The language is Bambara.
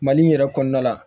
Mali in yɛrɛ kɔnɔna la